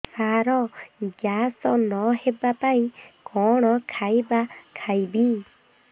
ସାର gas ନ ହେବା ପାଇଁ କଣ ଖାଇବା ଖାଇବି